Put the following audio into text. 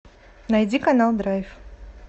найди канал драйв